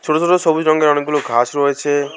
ছোট ছোট সবুজ রঙ্গের অনেকগুলো ঘাস রয়েছে।